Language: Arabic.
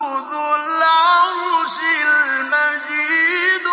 ذُو الْعَرْشِ الْمَجِيدُ